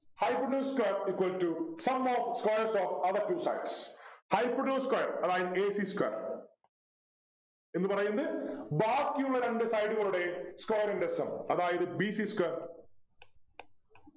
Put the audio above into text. Hypotenuse square equal to sum of squares of other two sides Hypotenuse square അതായത് a c square എന്ന് പറയുന്നത് ബാക്കിയുള്ള രണ്ടു side കളുടെ square ൻ്റെ sum അതായത് b c square